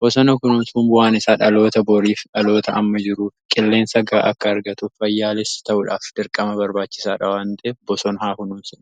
bosona kunuunsuun bu'aan isaa dhaloota boorii f dhaloota amma jiru qilleensa gaahaa akka argatu fayyaas ta'uudhaaf dirqama barbaachisa.